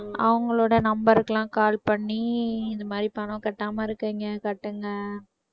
அவங்களோட number க்கு எல்லாம் call பண்ணி இந்த மாதிரி பணம் கட்டாம இருக்குறீங்க கட்டுங்க